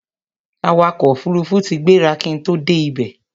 awakọ̀ òfurufú tí gbéra kí n tó dé ibẹ̀